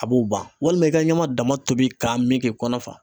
A b'o ban walima , i ka ɲama dama tobi k'a min kɛ kɔnɔ fa.